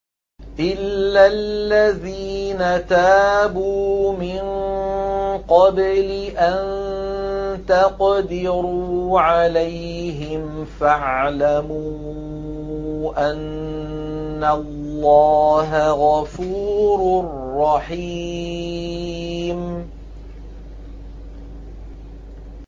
إِلَّا الَّذِينَ تَابُوا مِن قَبْلِ أَن تَقْدِرُوا عَلَيْهِمْ ۖ فَاعْلَمُوا أَنَّ اللَّهَ غَفُورٌ رَّحِيمٌ